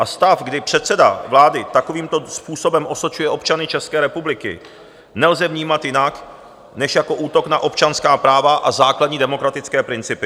A stav, kdy předseda vlády takovýmto způsobem osočuje občany České republiky, nelze vnímat jinak než jako útok na občanská práva a základní demokratické principy.